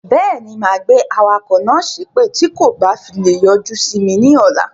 Beeni, máa gbé awakọ̀ náà sépè tí kò bá fi lè yọjú simi ni ọ̀la.